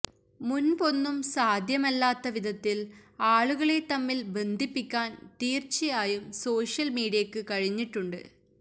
മുന്പൊന്നും സാധ്യമല്ലാത്ത വിധത്തില് ആളുകളെ തമ്മില് ബന്ധിപ്പിക്കാന് തീര്ച്ചയായും സോഷ്യല് മീഡിയക്ക് കഴിഞ്ഞിട്ടുണ്ട്